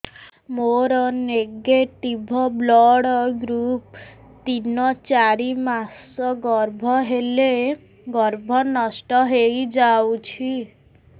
ମୋର negative blood group ତିନ ଚାରି ମାସ ଗର୍ଭ ହେଲେ ଗର୍ଭ ନଷ୍ଟ ହେଇଯାଉଛି